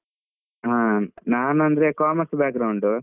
ಹಾ, ನಾನ್ ಅಂದ್ರೆ commerce .